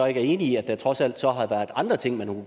ikke er enig i at der trods alt så har været andre ting man